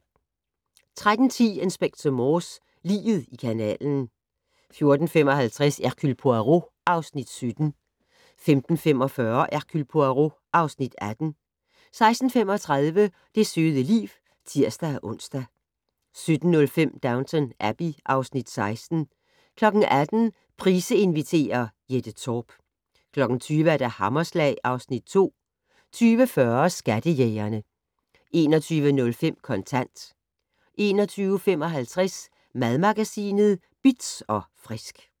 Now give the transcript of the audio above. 13:10: Inspector Morse: Liget i kanalen 14:55: Hercule Poirot (Afs. 17) 15:45: Hercule Poirot (Afs. 18) 16:35: Det søde liv (tir-ons) 17:05: Downton Abbey (Afs. 16) 18:00: Price inviterer - Jette Torp 20:00: Hammerslag (Afs. 2) 20:40: Skattejægerne 21:05: Kontant 21:55: Madmagasinet Bitz & Frisk